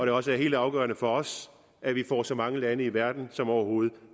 er også helt afgørende for os at vi får så mange lande i verden som overhovedet